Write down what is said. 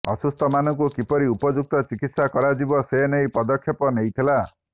ଅସୁସ୍ଥମାନଙ୍କୁ କିପରି ଉପଯୁକ୍ତ ଚିକିତ୍ସା କରାଯିବ ସେନେଇ ପଦକ୍ଷେପ ନେଇଥିଲା